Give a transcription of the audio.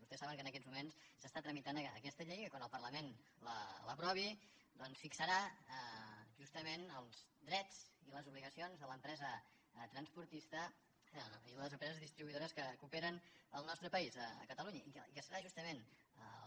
vostès saben que en aquests moments s’està tramitant aquesta llei que quan el parlament l’aprovi doncs fixarà justament els drets i les obligacions de l’empresa transportista i les empreses distribuïdores que operen al nostre país a catalunya i que serà justament